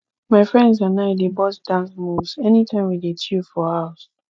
my friends and i dey burst dance moves anytime we dey chill for house